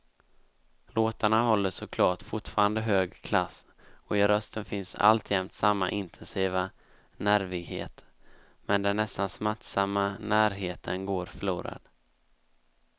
Låtarna håller såklart fortfarande hög klass och i rösten finns alltjämt samma intensiva nervighet, men den nästan smärtsamma närheten går förlorad.